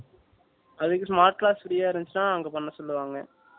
அதுக்கு smart class free யா இருந்துச்சினா அங்க பண்ண சொல்லுவாங்க